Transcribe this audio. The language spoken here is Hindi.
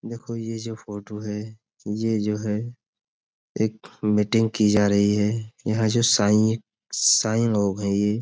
देखो ये जो फोटो है ये जो है एक मीटिंग की जा रही है। यहाँ जो साईं साईं लोग हैं ये --